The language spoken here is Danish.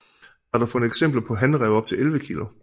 Der er dog fundet eksempler på hanræve på op til 11 kilo